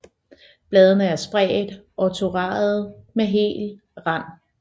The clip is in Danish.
Bladene er spredte og toradede med hel rand